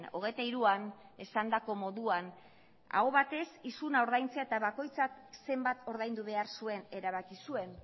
hogeita hiruan esandako moduan aho batez isuna ordaintzea eta bakoitzak zenbat ordaindu behar zuen erabaki zuen